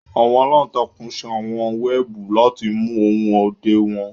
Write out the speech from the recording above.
àwọn àlantàkùn ṣe àwọn wẹẹbu lati mu ohun ọdẹ wọn